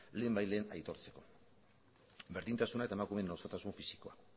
lehenbailehen aitortzeko berdintasuna eta emakumeen osotasun fisikoa